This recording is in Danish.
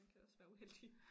Man kan også være uheldig